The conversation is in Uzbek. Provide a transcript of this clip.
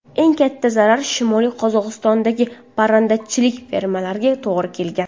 Eng katta zarar Shimoliy Qozog‘istondagi parrandachilik fermalariga to‘g‘ri kelgan.